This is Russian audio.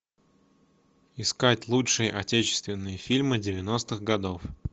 искать лучшие отечественные фильмы девяностых годов